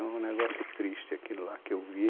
É um negócio triste aquilo lá, que eu vi